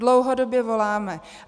Dlouhodobě voláme.